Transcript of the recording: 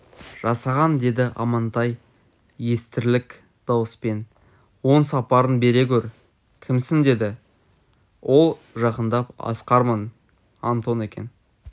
жасаған деді амантай естірлік дауыспен оң сапарын бере гөр кімсің деді ол жақындап асқармын антон екен